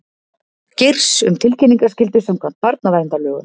Geirs um tilkynningaskyldu samkvæmt barnaverndarlögum